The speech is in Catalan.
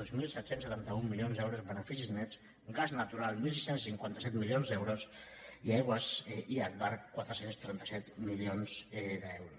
dos mil set cents i setanta un milions d’euros en beneficis nets gas natural quinze cinquanta set milions d’euros i agbar quatre cents i trenta set milions d’euros